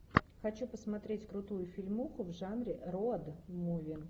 хочу посмотреть крутую фильмуху в жанре роуд муви